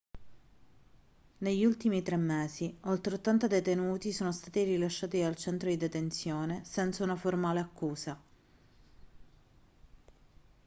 negli ultimi 3 mesi oltre 80 detenuti sono stati rilasciati dal centro di detenzione senza una formale accusa